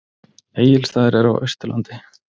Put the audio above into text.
Egilsstaðir eru á Austurlandi.